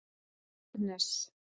Agnes